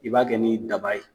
I b'a kɛ ni daba ye.